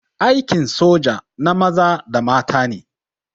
Aikin soja na maza da mata ne.